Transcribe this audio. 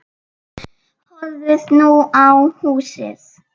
Horfði nú á húsið.